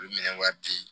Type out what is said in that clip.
U bi minɛ wari di